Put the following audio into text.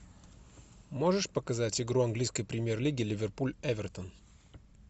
можешь показать игру английской премьер лиги ливерпуль эвертон